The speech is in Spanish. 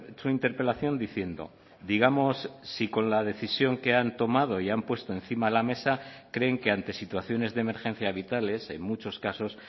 su interpelación diciendo digamos si con la decisión que han tomado y han puesto encima de la mesa creen que ante situaciones de emergencia vitales en muchos casos